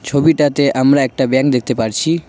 ছবিটাতে আমরা একটা ব্যাংক দেখতে পারছি।